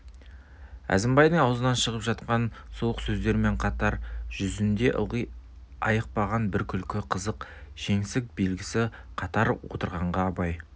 әзімбайдың аузынан шығып жатқан суық сөздерімен қатар жүзінде ылғи айықпаған бір күлкі қызық жеңсік белгісі қатар отырғанға абай